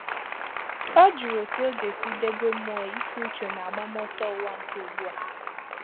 Ọ jụrụ otú ọ ga-esi debe mmụọ iti uchu na-agbam ọsọ ụwa nke ugbua